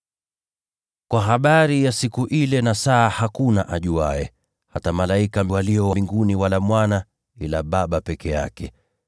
“Kwa habari ya siku ile na saa, hakuna ajuaye, hata malaika walio mbinguni wala Mwana, ila Baba peke yake.